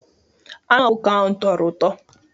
Anụ ọkụkọ ahụ tọrọ ụtọ.